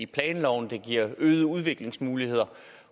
planloven og det giver øgede udviklingsmuligheder